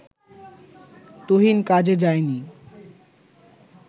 তুহিন কাজে যায়নি